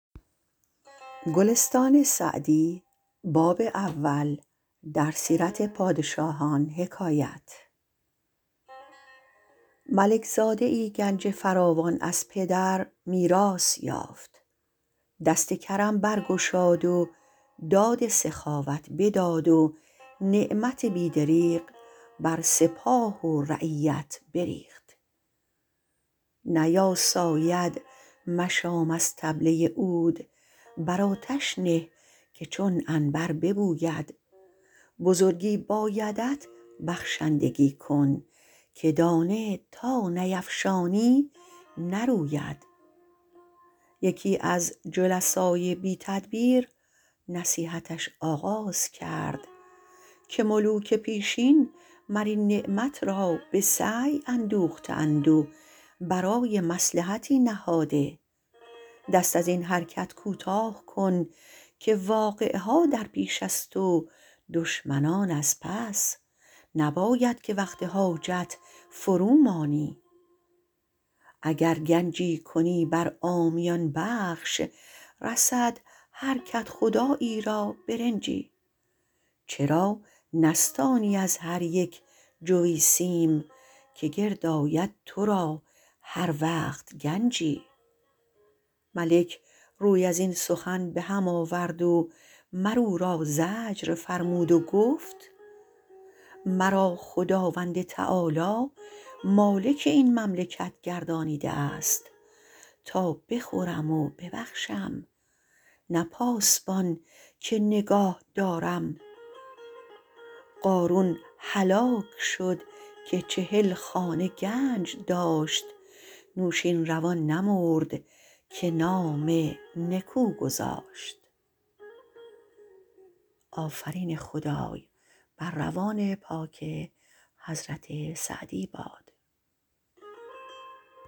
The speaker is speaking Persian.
ملک زاده ای گنج فراوان از پدر میراث یافت دست کرم برگشاد و داد سخاوت بداد و نعمت بی دریغ بر سپاه و رعیت بریخت نیاساید مشام از طبله عود بر آتش نه که چون عنبر ببوید بزرگی بایدت بخشندگی کن که دانه تا نیفشانی نروید یکی از جلسای بی تدبیر نصیحتش آغاز کرد که ملوک پیشین مر این نعمت را به سعی اندوخته اند و برای مصلحتی نهاده دست از این حرکت کوتاه کن که واقعه ها در پیش است و دشمنان از پس نباید که وقت حاجت فرو مانی اگر گنجی کنی بر عامیان بخش رسد هر کدخدایی را برنجی چرا نستانی از هر یک جوی سیم که گرد آید تو را هر وقت گنجی ملک روی از این سخن به هم آورد و مر او را زجر فرمود و گفت مرا خداوند تعالیٰ مالک این مملکت گردانیده است تا بخورم و ببخشم نه پاسبان که نگاه دارم قارون هلاک شد که چهل خانه گنج داشت نوشین روان نمرد که نام نکو گذاشت